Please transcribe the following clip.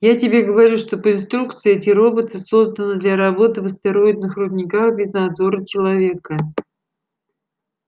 я тебе говорю что по инструкции эти роботы созданы для работы в астероидных рудниках без надзора человека